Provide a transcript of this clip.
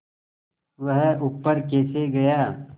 वह ऊपर कैसे गया